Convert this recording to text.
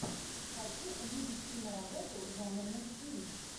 хочу увидеть киноработу жанр мультфильм